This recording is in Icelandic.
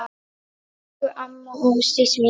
Elsku amma Ásdís mín.